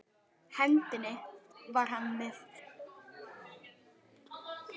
hendinni var hann með kraftmikinn ljóskastara því rafmagn